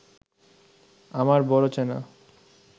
আমার বড় চেনা